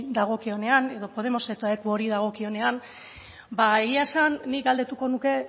dagokionean edo podemosetakori dagokionean ba egia esan nik galdetuko nuke